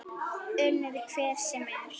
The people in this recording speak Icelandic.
Unnið hvern sem er?